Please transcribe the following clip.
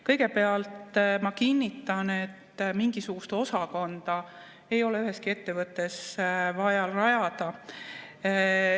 Kõigepealt ma kinnitan, et mingisugust osakonda ei ole üheski ettevõttes vaja rajada.